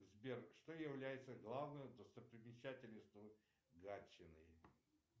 сбер что является главной достопримечательностью гатчины